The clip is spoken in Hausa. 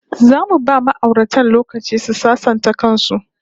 Zamu ba ma'auratan lokaci su sasanta kan su